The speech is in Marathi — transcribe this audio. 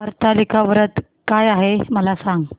हरतालिका व्रत काय आहे मला सांग